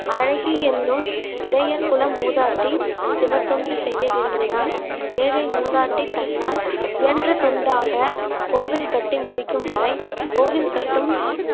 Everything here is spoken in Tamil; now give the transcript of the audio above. அழகி எண்ணும் இடையர் குல மூதாட்டி சிவத்தொண்டு செய்ய விரும்பினார் ஏழை மூதாட்டி தன்னால் இயன்ற தொண்டாக கோவில் கட்டி முடிக்கும் வரை கோவில் கட்டும்